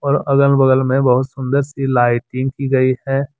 अगल बगल मे बहुत सुंदर सी लाइटिंग की गई है।